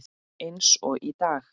Eins og í dag.